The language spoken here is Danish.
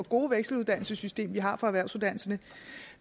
gode vekseluddannelsessystem vi har for erhvervsuddannelserne